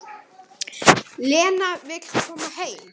Lena vill koma heim.